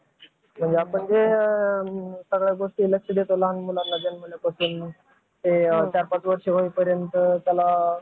अं UPSC MPSC पण करता लोक.